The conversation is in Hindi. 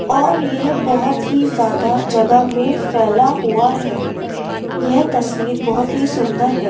और यह बहुत ही ज्यादा जगह मै फैला हुआ है यह तस्वीर बहुत ही सुंदर है।